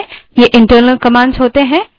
ये internal commands होती हैं